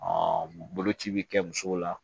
boloci bɛ kɛ musow la